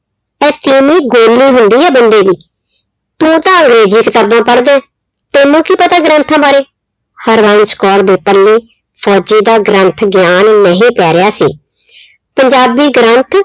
ਗੋਲੀ ਹੁੰਦੀ ਆ ਬੰਦੇ ਦੀ। ਤੂੰ ਤਾਂ ਅੰਗ੍ਰੇਜ਼ੀ ਕਿਤਾਬਾਂ ਪੜਦੈਂ। ਤੈਨੂੰ ਕੀ ਪਤਾ ਗ੍ਰੰਥਾਂ ਬਾਰੇ। ਹਰਬੰਸ ਕੌਰ ਦੇ ਪੱਲੇ ਫੌਜੀ ਦਾ ਗ੍ਰੰਥ ਗਿਆਨ ਨਹੀਂ ਪੈ ਰਿਹਾ ਸੀ। ਪੰਜਾਬੀ ਗ੍ਰੰਥ